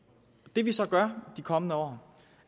det vi så gør de kommende år